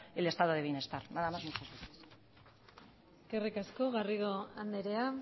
el estado del bienestar nada más muchas gracias eskerrik asko garrido andrea